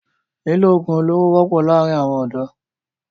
Lílò ogun olóro wọpọ laarin awọn ọdọ